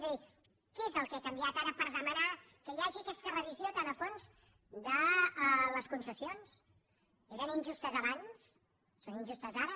és a dir què és el que ha canviat ara per demanar que hi hagi aquesta revisió tan a fons de les concessions eren injustes abans són injustes ara